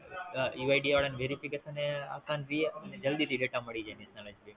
ઈ Y D આવે ન Verification એ આપવાં રિયે અને જલ્દી થી Data મળી જાય